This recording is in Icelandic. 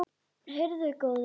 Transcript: Heyrðu góði.